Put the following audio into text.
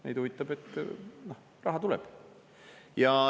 Neid huvitab, et raha tuleb.